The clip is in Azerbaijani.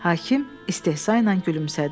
Hakim istehza ilə gülümsədi.